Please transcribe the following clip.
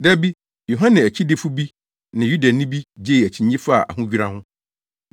Da bi, Yohane akyidifo bi ne Yudani bi gyee akyinnye faa ahodwira ho.